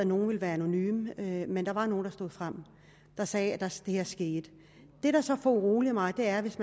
nogle vil være anonyme men der var nogle der stod frem sagde at det her skete det der så foruroliger mig er hvis